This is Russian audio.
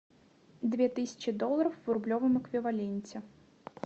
две тысячи долларов в рублевом эквиваленте